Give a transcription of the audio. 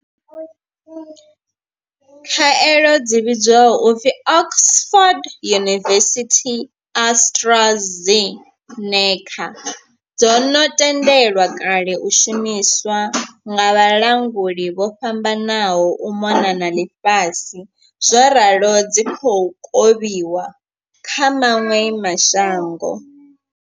Khaelo dzi vhidzwaho u pfi Oxford University-AstraZeneca dzo no tendelwa kale u shumiswa nga vhalanguli vho fhambananaho u mona na ḽifhasi zworalo dzi khou kovhiwa kha maṅwe ma shango.